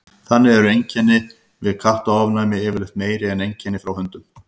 þannig eru einkenni við kattaofnæmi yfirleitt meiri en einkenni frá hundum